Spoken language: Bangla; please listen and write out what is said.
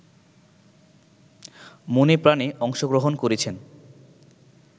মনেপ্রাণে অংশগ্রহণ করেছেন